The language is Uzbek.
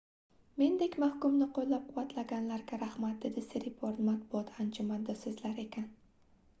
mendek mahkumni qoʻllab-quvvatlaganlarga rahmat dedi siriporn matbuot anjumanida soʻzlar ekan